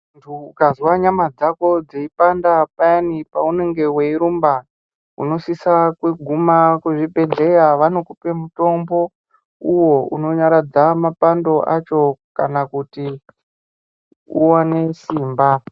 Mundu ukazwa nyama dzako dzeipanda payana paunenge weirumba unosisa kuguma kuzvibhedhlera vanokupa mutombo uwo unonyaradza mapando acho kana kuti uwane simba.